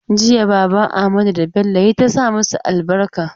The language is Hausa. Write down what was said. Jiya baban Amadu da Bello ya yi ta sa masu albarka.